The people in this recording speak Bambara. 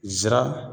Zira